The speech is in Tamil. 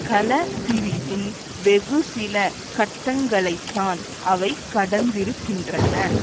கல பிரிவின் வெகுசில கட்டங்களைத்தான் அவை கடந்திருக்கின்றன